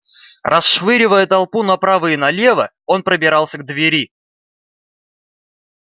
расшвыривая толпу направо и налево он пробирался к двери